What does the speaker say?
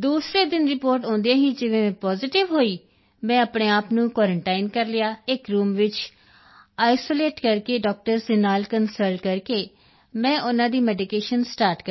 ਦੂਸਰੇ ਦਿਨ ਰਿਪੋਰਟ ਆਉਂਦਿਆਂ ਹੀ ਜਿਵੇਂ ਹੀ ਮੈਂ ਪੋਜ਼ੀਟਿਵ ਹੋਈ ਮੈਂ ਆਪਣੇ ਆਪ ਨੂੰ ਕੁਆਰੰਟਾਈਨ ਕਰ ਲਿਆ ਇੱਕ ਰੂਮ ਵਿੱਚ ਆਈਸੋਲੇਟ ਕਰਕੇ ਡਾਕਟਰਜ਼ ਦੇ ਨਾਲ ਕੰਸਲਟ ਕਰਕੇ ਮੈਂ ਉਨ੍ਹਾਂ ਦੀ ਮੈਡੀਕੇਸ਼ਨ ਸਟਾਰਟ ਕਰ ਦਿੱਤੀ